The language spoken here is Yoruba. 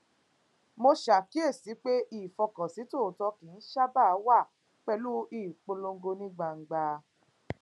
mo ṣàkíyèsi pé ìfọkànsìn tòótó kì í sábà wá pẹlú ìpolongo ní gbangba